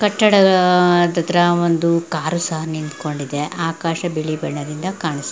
ಕಟ್ಟಡದ ಹತ್ತತ್ರ ಒಂದು ಕಾರು ಸಹ ನಿಂಥಂಕೊಂಡಿದೆ ಆಕಾಶ ಬಿಳಿ ಬಣ್ಣದಿಂದ ಕಾಣಿಸ --